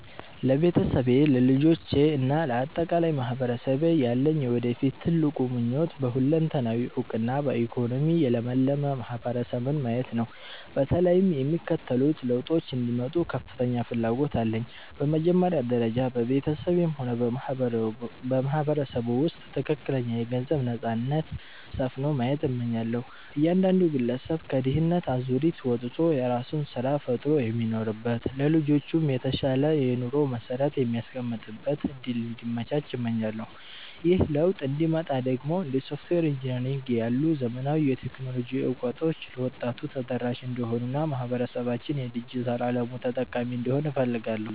ለቤተሰቤ፣ ለልጆቼ እና ለአጠቃላይ ማህበረሰቤ ያለኝ የወደፊት ትልቁ ምኞት በሁለንተናዊ እውቀትና በኢኮኖሚ የለመለመ ማህበረሰብን ማየት ነው። በተለይም የሚከተሉት ለውጦች እንዲመጡ ከፍተኛ ፍላጎት አለኝ፦ በመጀመሪያ ደረጃ፣ በቤተሰቤም ሆነ በማህበረሰቡ ውስጥ ትክክለኛ የገንዘብ ነፃነት (Financial Freedom) ሰፍኖ ማየት እመኛለሁ። እያንዳንዱ ግለሰብ ከድህነት አዙሪት ወጥቶ የራሱን ስራ ፈጥሮ የሚኖርበት፣ ለልጆቹም የተሻለ የኑሮ መሰረት የሚያስቀምጥበት እድል እንዲመቻች እመኛለሁ። ይህ ለውጥ እንዲመጣ ደግሞ እንደ ሶፍትዌር ኢንጂነሪንግ ያሉ ዘመናዊ የቴክኖሎጂ እውቀቶች ለወጣቱ ተደራሽ እንዲሆኑና ማህበረሰባችን የዲጂታል አለሙ ተጠቃሚ እንዲሆን እፈልጋለሁ።